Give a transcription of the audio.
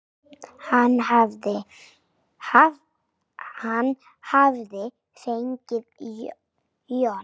Hann hafði fengið John